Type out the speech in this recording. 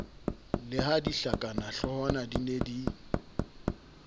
le ha dihlakanahloohwana di ne